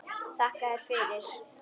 Þakka þér fyrir.